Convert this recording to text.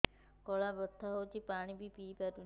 ଗଳା ବଥା ହଉଚି ପାଣି ବି ପିଇ ପାରୁନି